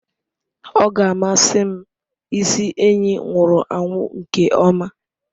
Ọ ga-amasị m ịsị enyi nwụrụ anwụ nke ọma.